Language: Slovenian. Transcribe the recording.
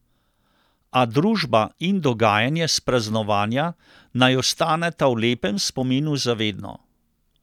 A družba in dogajanje s praznovanja, naj ostaneta v lepem spominu za vedno.